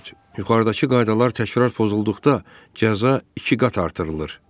Yuxarıdakı qaydalar təkrar pozulduqda cəza iki qat artırılır.